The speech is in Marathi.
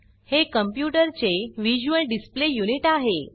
हे कॉम्प्यूटर चे व्हिज्युअल डिस्पले युनिट आहे